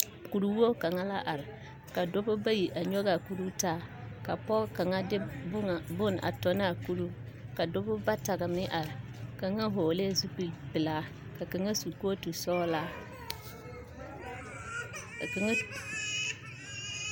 Kurwogi kaŋa la are ka dɔba bayi a nyɔge a kuroo taa ka pɔge kaŋa de bon bonŋa tɔ ne a kuroo ka dɔba bata meŋ are ka kaŋa vɔglɛɛ zupil pelaa ka kaŋa su kootu sɔglaa ka kaŋa.